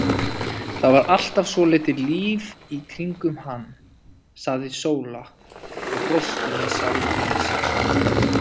Það var alltaf svolítið líf í kringum hann, sagði Sóla og brosti með sjálfri sér.